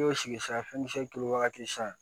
I y'o sigi sisan fɛn misɛnnin wagati san